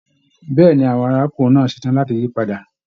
Bẹ̀ẹ́ni, àwọn arákùnrin náà ṣetán láti yí padà.